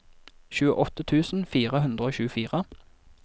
tjueåtte tusen fire hundre og tjuefire